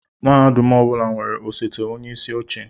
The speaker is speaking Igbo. Mahadum ọ bụla nwere osote onyeisi oche